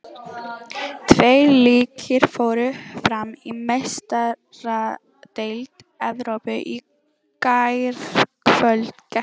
Tveir leikir fóru fram í Meistaradeild Evrópu í gærkvöld.